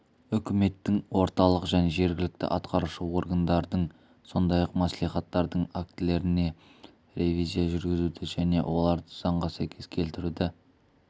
үкіметтің орталық және жергілікті атқарушы органдардың сондай-ақ мәслихаттардың актілеріне ревизия жүргізуді және оларды заңға сәйкес келтіруді